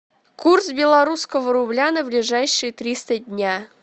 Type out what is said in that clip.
курс белорусского рубля на ближайшие триста дня